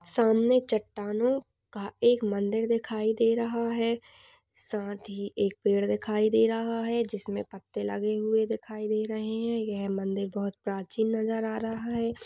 सामने चट्टानों का एक मंदिर दिखाई दे रहा है। साथ ही एक पेड़ दिखाई दे रहा है जिसमें पत्ते लगे हुए दिखाई दे रहे हैं। यह मंदिर बहोत प्राचीन नजर आ रहा है।